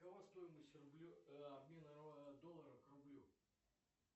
какова стоимость обмена доллара к рублю